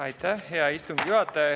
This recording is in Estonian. Aitäh, hea istungi juhataja!